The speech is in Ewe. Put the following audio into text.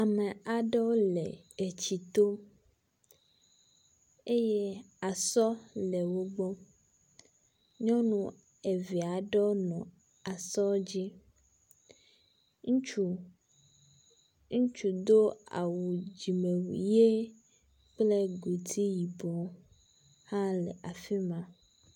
Ame aɖewo le etsito eye esɔ le wo gbɔ. Nyɔnu eve aɖewo nɔ esɔ dzi, ŋutsu do awu dzimewui ʋe kple godi yibɔ hã le afi ma.